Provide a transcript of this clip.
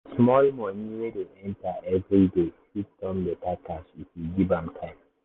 small money wey dey enter every day fit turn better cash if you give am time.